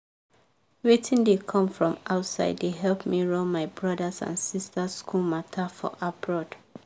wetin dey come from outside dey help me run my brothers and sisters school matter for abroad.